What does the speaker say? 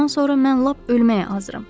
Ondan sonra mən lap ölməyə hazıram.